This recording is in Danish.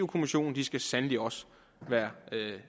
kommissionen skal sandelig også være